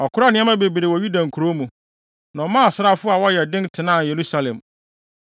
Ɔkoraa nneɛma bebree wɔ Yuda nkurow mu, na ɔmaa asraafo a wɔyɛ den tenaa Yerusalem.